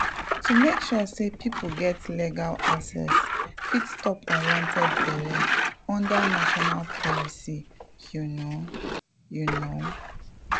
to make sure say people get legal access fit stop unwanted belle under national policies you know… you know.